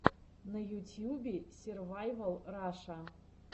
на ютьюбе сервайвал раша